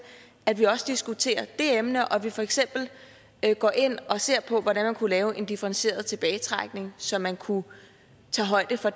at vi også diskuterer det emne og at vi for eksempel går ind og ser på hvordan man kunne lave en differentieret tilbagetrækning så man kunne tage højde for